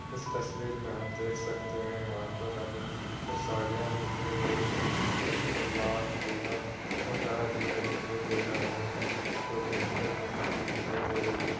इस तस्वीर में हम देख सकते है यहाँ पर हमे कुछ साड़ियां दिखाई दे रही हैं जिसका कलर लालपीला और डार्क रेड दिखाई दे रहा है जो कि हेंगर मे टांगी दिखाई दे रही है।